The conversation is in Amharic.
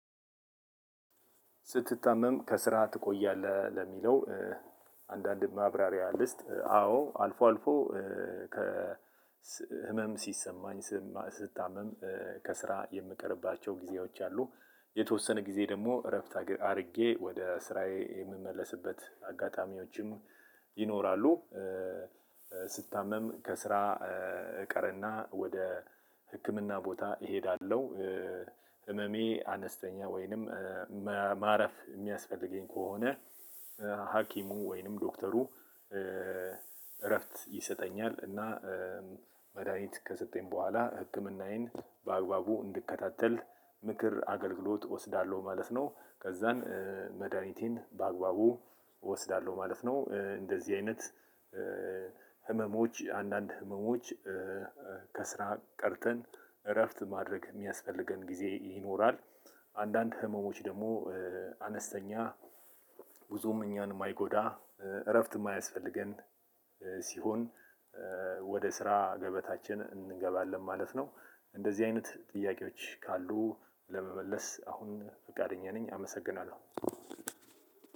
ስትታመም ከስራ ትቆያለህ ለሚለው? አንዳንድ ማብራሪያ ልስጥ አዎ አልፎ አልፎ ከ ህመም ሲሰማኝ ስም ስታመም ከስራ የምቀርባቸው ጊዜዎች አሉ። የተወሰነ ጊዜ ደሞ እረፍት አድርጌ ወደ ስራዬ የምመለስበት አጋጣሚዎችም ይኖራሉ። ስታመም ከስራ እቀርና ወደ ህክምና ቦታ እሄዳለሁ። ህመሜ አነስተኛ ወይንም ማረፍ የሚያስፈልገኝ ከሆነ ሀኪሙ ወይንም ዶክተሩ እረፍት ይሰጠኛል እና መድሃኒት ከሰጠኝ በኋላ ህክምናዬን በአግባቡ እንድከታተል ምክር አገልግሎት እወስዳለሁ ማለት ነው። ከዛን መድሃኒቴን በአግባቡ እወስዳለሁ ማለት ነው። እንደዚህ አይነት ህመሞች አንዳንድ ህመሞች ከስራ ቀርተን እረፍት ማድረግ የሚያስፈልገን ጊዜ ይኖራል። አንዳንድ ህመሞች ደግሞ አነስተኛ ብዙም እኛን የማይጎዳ እረፍት የማያስፈልገን ሲሆን ወደ ስራ ገበታችን እንገባለን ማለት ነው። እንደዚህ አይነት ጥያቄዎች ካሉ ለመመለስ አሁን ፈቃደኛ ነኝ። አመሰግናለሁ።